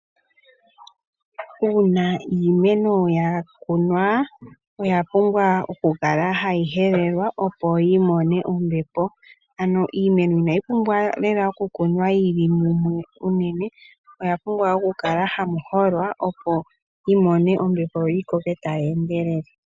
Uuna iimeno ya kunwa, oya pumbwa oku kala hayi helelwa opo yi mone ombepo. Inayi pumbwa oku kunwa yi li mumwe unene, ihe oya pumbwa oku kala hayi holwa yimone ombepo yagwana opo yi koke tayi endelele.